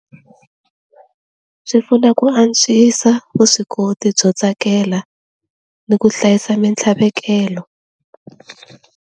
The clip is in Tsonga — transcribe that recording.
Swi pfuna ku antswisa vuswikoti byo tsakela ni ku hlayisa mintlhavekelo.